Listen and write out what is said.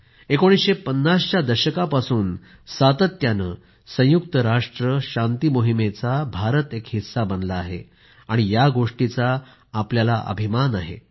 1950 च्या दशकापासून सातत्याने संयुक्त राष्ट्र शांती मोहिमेचा भारत एक हिस्सा बनला आहे या गोष्टीचा भारताला अभिमान वाटतो